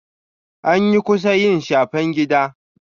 Anyi kusa yi shafen gida.